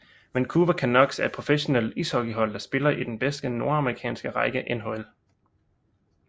Vancouver Canucks er et professionelt ishockeyhold der spiller i den bedste nordamerikanske række NHL